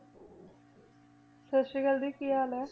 ਸਤਿ ਸ੍ਰੀ ਅਕਾਲ ਦੀ ਕੀ ਹਾਲ ਹੈ?